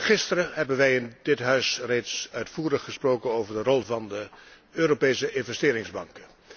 Gisteren hebben wij in dit Huis reeds uitvoerig gesproken over de rol van de Europese Investeringsbank.